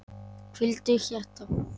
Hvíldu hjarta.